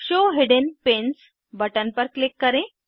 show hidden pins button पर click करें